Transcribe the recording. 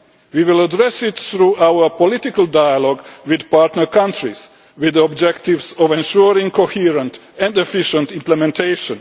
We will address this through our political dialogue with partner countries, with the objective of ensuring coherent and efficient implementation.